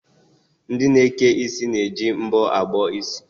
Ndị na-eke isi na-eji mbọ abọ isi.